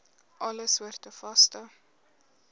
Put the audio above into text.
alle soorte vaste